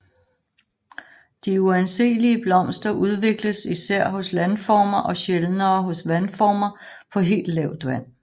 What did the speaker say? De uanseelige blomster udvikles især hos landformer og sjældnere hos vandformer på helt lavt vand